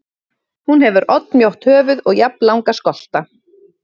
Hún hefur oddmjótt höfuð og jafnlanga skolta.